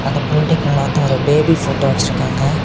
அந்த பில்ட்டிங்குள்ள வந்து ஒரு பேபி போட்டோ வெச்சேருக்காங்க.